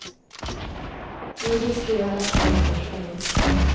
Nu riskerar de tolv års fängelse.